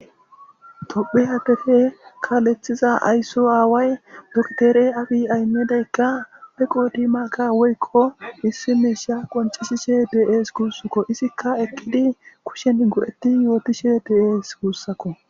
Tophe adefe kaalethiza ayso aaway doktere abi ahimedeykka peqodimaka woykko issi miisha qoncishishe dees guussakko izikka ekkidi kushen go7etti yootishe dees guussakko.